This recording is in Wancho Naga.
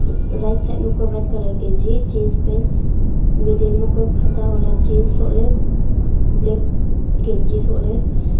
rightside kua e white ganzi jeans pant middle ma kua phata wala jeans soh ley black ganzi soh ley.